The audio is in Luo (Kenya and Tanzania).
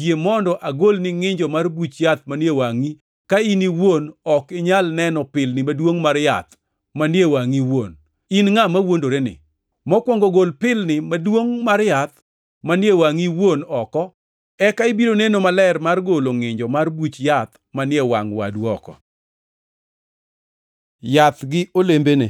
yie mondo agolni ngʼinjo mar buch yath manie wangʼi, ka in iwuon ok inyal neno pilni maduongʼ mar yath manie wangʼi iwuon? In ngʼat mawuondoreni, mokwongo gol pilni maduongʼ mar yath manie wangʼi iwuon oko, eka ibiro neno maler mar golo ngʼinjo mar buch yath manie wangʼ wadu oko. Yath gi olembene